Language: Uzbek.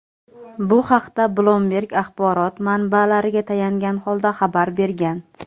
Bu haqda "Bloomberg" axborot manbalariga tayangan holda xabar bergan.